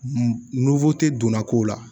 donna ko la